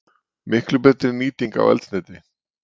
Miklu betri nýting á eldsneyti.